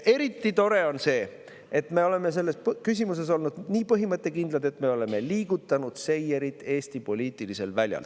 Eriti tore on see, et me oleme selles küsimuses olnud nii põhimõttekindlad, et me oleme liigutanud seierit Eesti poliitilisel väljal.